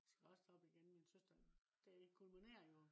skal også derop igen. min søster. det kulminere jo